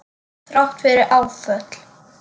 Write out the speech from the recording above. Þrátt fyrir áföll.